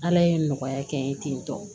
Ala ye nɔgɔya kɛ n ye ten tɔ